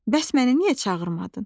Bəs məni niyə çağırmadın?